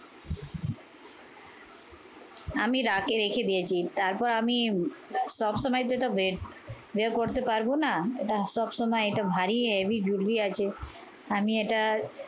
আমি রাকে রেখে দিয়েছি, তারপর আমি সবসময় যেটা বেরবের করতে পারবো না, এটা সবসময় এটা ভারি heavy jewelry আছে। আমি এটা